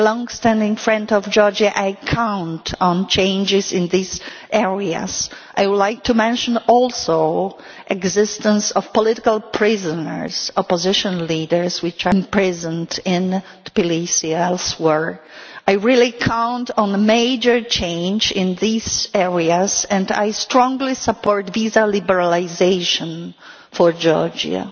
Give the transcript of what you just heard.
Being a long standing friend of Georgia, I count on changes in these areas. I would like to mention also the existence of political prisoners opposition leaders imprisoned in Tbilisi and elsewhere. I really count on a major change in these areas, and I strongly support visa liberalisation for Georgia.